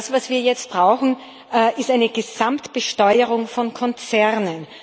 Was wir jetzt brauchen, ist eine Gesamtbesteuerung von Konzernen